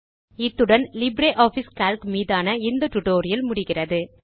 இத்துடன் LibreOffice Calc மீதான இந்த ஸ்போக்கன் டியூட்டோரியல் முடிகிறது